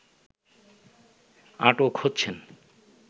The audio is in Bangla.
আটক হচ্ছেন